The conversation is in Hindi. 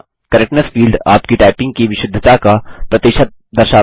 करेक्टनेस फील्ड आपकी टाइपिंग की विशुद्धता का प्रतिशत दर्शाता है